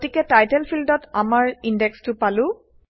গতিকে টাইটেল ফিল্ডত আমাৰ ইনডেক্সটো পালো